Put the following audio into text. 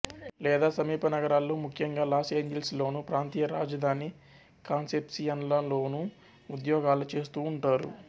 లేదా సమీప నగరాల్లో ముఖ్యంగా లాస్ ఏంజిల్స్ లోను ప్రాంతీయ రాజధాని కాన్సెప్సియన్లలోనూ ఉద్యోగాలు చేస్తూంటారు